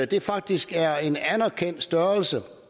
det faktisk er en anerkendt størrelse